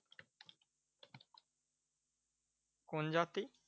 কোন জাতি?